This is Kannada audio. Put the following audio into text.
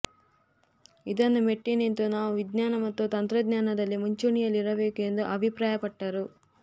ಇದನ್ನು ಮೆಟ್ಟಿನಿಂತು ನಾವು ವಿಜ್ಙಾನ ಮತ್ತು ತಂತ್ರಜ್ಞಾನದಲ್ಲಿ ಮುಂಚೂಣಿಯಲ್ಲಿರಬೇಕು ಎಂದು ಅಭಿಪ್ರಾಯಪಟ್ಟರು